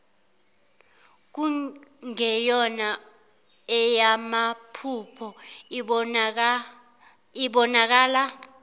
kungeyona eyamaphupho ibonakala